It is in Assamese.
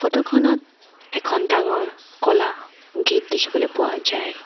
ফটো খনত এখন ডাঙৰ ক'লা গেট দেখিবলৈ পোৱা যায়।